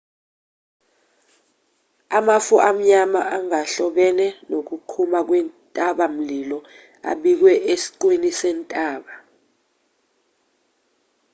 amafu amnyama angahlobene nokuqhuma kwentabamlilo abikiwe esiqwini sentaba